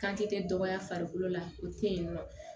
Kan te kɛ dɔgɔya farikolo la o te yen nɔ